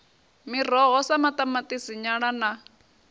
miroho sa maṱamaṱisi nyala na